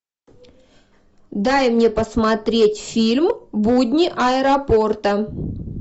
дай мне посмотреть фильм будни аэропорта